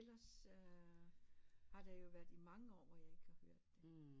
Ellers har der jo været i mange år hvor jeg ikke har hørt det